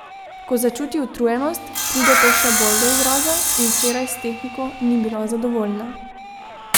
Ko začuti utrujenost, pride to še bolj do izraza, in včeraj s tehniko ni bila zadovoljna.